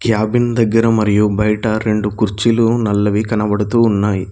Cabin దగ్గర మరియు బయట రెండు కుర్చీలు నల్లవి కనబడుతూ ఉన్నాయి.